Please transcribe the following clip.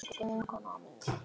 Það gerði okkur stærri.